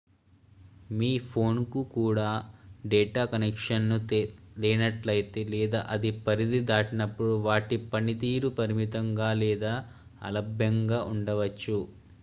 మీ phone కు data connection లేనట్లయితే లేదా అది పరిధి దాటినప్పుడు వాటి పనితీరు పరిమితం గా లేదా అలభ్యంగా ఉండవచ్చు